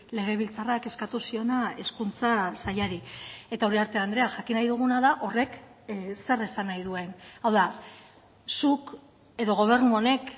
legebiltzarrak eskatu ziona hezkuntza sailari eta uriarte andrea jakin nahi duguna da horrek zer esan nahi duen hau da zuk edo gobernu honek